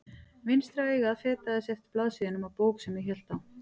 Vinstra augað fetaði sig eftir blaðsíðunum á bók sem ég hélt á.